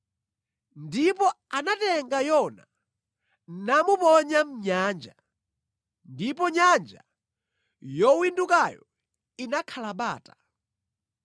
Ndipo anatenga Yona namuponya mʼnyanja, ndipo nyanja yowindukayo inakhala bata.